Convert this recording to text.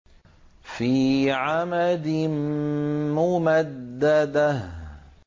فِي عَمَدٍ مُّمَدَّدَةٍ